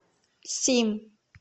сим